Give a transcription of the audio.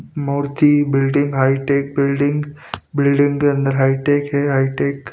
मूर्ति building hi-tech building building के अंदर hi-tech है हाईटेक --